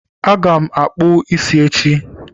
Aga m akpụ ísí echi